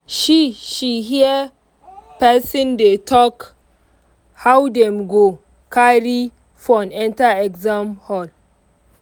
she she hear person dey talk how dem go carry phone enter exam hall.